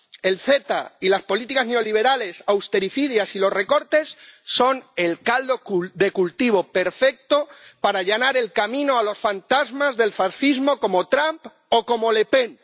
El CETA y las políticas neoliberales austericidas y los recortes son el caldo de cultivo perfecto para allanar el camino a los fantasmas del fascismo como Trump o como Le Pen.